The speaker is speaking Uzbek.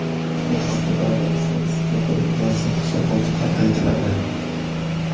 Bu haqda Davlat statistika qo‘mitasi hisobotida aytiladi .